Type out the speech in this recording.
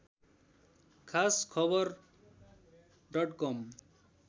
खास खबर डट कम